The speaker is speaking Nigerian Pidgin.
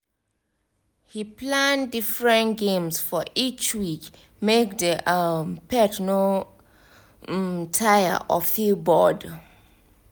he plan different games for each week make the um pet no um tire or feel bored.